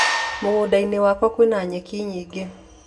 Mũgũnda -inĩ wakwa kwina nyeki nyingĩ.